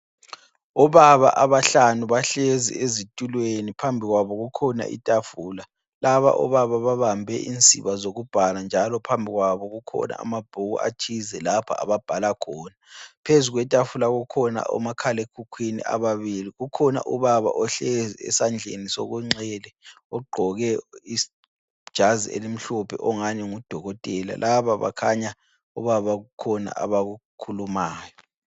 Obaba abahlanu bahlezi ezitulweni, phambi kwabo kukhona itafula. Laba obaba babambe insiba zokubhala njalo phambi kwabo kukhona amabhuku athize lapha ababhala khona. Phezu kwetafula kukhona omakhalekhukhwini ababili. Kukhona ubaba ohlezi esandleni sokunxele ogqoke ijazi elimhlophe ongani ngudokotela. Laba bakhanya obaba kukhona abakukhulumayo.